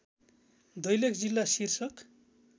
दैलेख जिल्ला शीर्षक